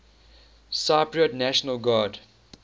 cypriot national guard